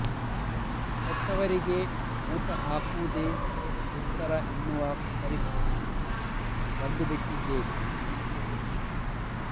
ಹೆತ್ತವರಿಗೆ ಊಟ ಹಾಕುವುದೇ ದುಸ್ತರ ಎನ್ನುವ ಪರಿಸ್ಥಿತಿಗೆ ಬಂದು ಬಿಟ್ಟಿದ್ದೇವೆ